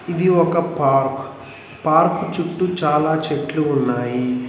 ఇది ఒక park park చుట్టూ చాలా చెట్లు ఉన్నాయి.